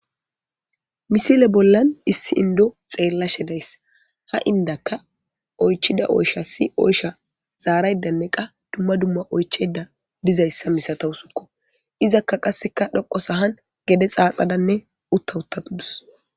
misile bollan issi indo xeella shedayssa ha indakka oychida oysha si oysha zaaraydanne qa dumma dumma oycheda dizayssa misatawusukko izakka qasseka dhoqo sahan gede xaaxadanne uttahutatudus